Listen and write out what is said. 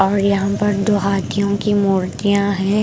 और यहाँ पर दो हाथियों की मूर्तियाँ हैं ।